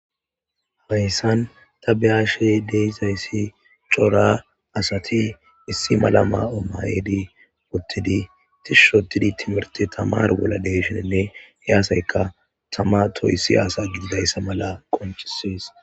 Hayssan ta behashey deizayssi cora asati issi malama omayedi pottidi tishushotidi timirti tamar golla deyshenenne yaasayka tama toyssi asa gididayssa mala qonchisees.